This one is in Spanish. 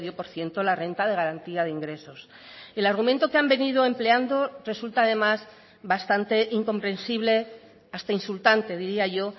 por ciento la renta de garantía de ingresos el argumento que han venido empleando resulta además bastante incomprensible hasta insultante diría yo